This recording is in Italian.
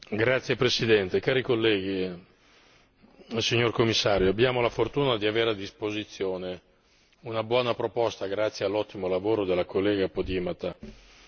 Signor Presidente, onorevoli colleghi, signor Commissario, abbiamo la fortuna di avere a disposizione una buona proposta grazie all'ottimo lavoro dell'onorevole Podimata.